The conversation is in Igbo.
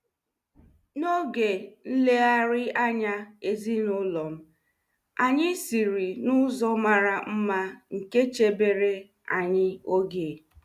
N'oge nlegharị anya ezinụlọ m, anyị siri n'ụzọ mara mma nke chebere anyi oge.